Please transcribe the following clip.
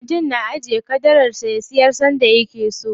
Mutum na iya ajiye ƙadarar sa, ya siyar sanda yake so.